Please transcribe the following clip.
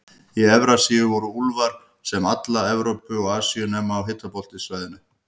Í Evrasíu voru úlfar um alla Evrópu og Asíu, nema á hitabeltissvæðunum.